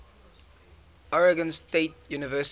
oregon state university